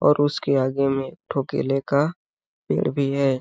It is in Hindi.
और उसके आगे में एक ठो केले का पेड़ भी है।